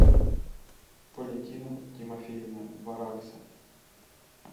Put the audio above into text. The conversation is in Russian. валентина тимофеевна варакса